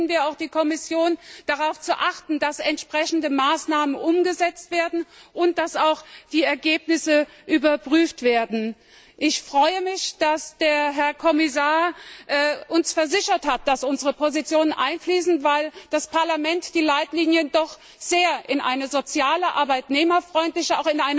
Deswegen bitten wir die Kommission, darauf zu achten, dass entsprechende Maßnahmen umgesetzt werden, und dass auch die Ergebnisse überprüft werden. Ich freue mich, dass der Herr Kommissar uns versichert hat, dass unsere Positionen einfließen, weil das Parlament die Leitlinien doch um eine sehr soziale und arbeitnehmerfreundliche